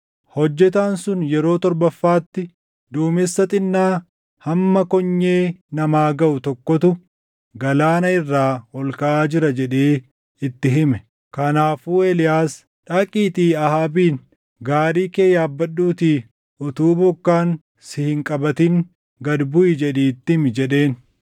Hojjetaan sun yeroo torbaffaatti, “Duumessa xinnaa hamma konyee namaa gaʼu tokkotu galaana irraa ol kaʼaa jira” jedhee itti hime. Kanaafuu Eeliyaas, “Dhaqiitii Ahaabiin, ‘Gaarii kee yaabbadhuutii utuu bokkaan si hin qabatin gad buʼi’ jedhii itti himi” jedheen.